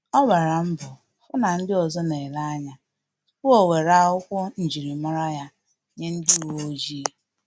Ọ gbala mbo fu na ndị ọzọ na-ele anya tupu o nwere akwokwu njirimara ya nye ndị uweojii